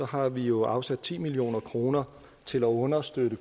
har vi jo afsat ti million kroner til at understøtte